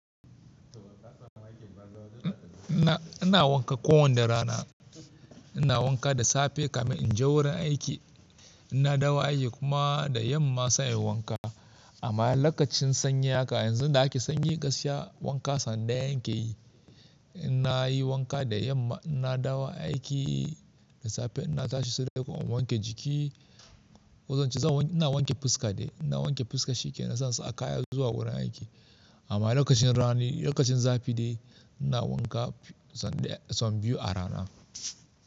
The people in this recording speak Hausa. Ina wanka ko wanne rana. Ina wanka da safe kamin in je wurin aiki. Ina dawo aiki kuma da yamma sai inyi wanka. Amma lokacin sanyi haka yanzu da ake sanyi wanka wanka sanda yan ke yi. Ina yi wanka da yamma ina dawo aiki da safe ina tashi sai dai kuma in wanke jiki. Kozan ce zan ina wanke fuska dai ina wanke fuska shike na sansa kaya zuwa wurin aiki. Amma lokacin rani lokacin zafi dai ina wanka sau biyu a rana.